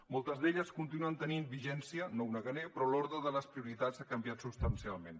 moltes d’elles continuen tenint vigència no ho negaré però l’ordre de les prioritats ha canviat substancialment